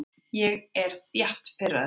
Ég er þétt pirraður.